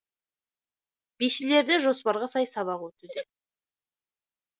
бишілерде жоспарға сай сабақ өтуде